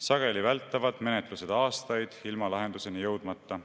Sageli vältavad menetlused aastaid ilma lahenduseni jõudmata.